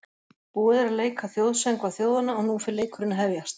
Búið er að leika þjóðsöngva þjóðanna og nú fer leikurinn að hefjast.